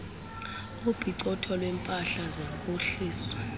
opicotho lweempahla zenkohliso